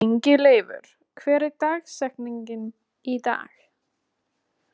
Ingileifur, hver er dagsetningin í dag?